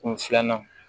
Kun filanan